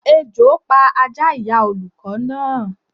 Ejò pa Ajá ìyá olùkọ́ náà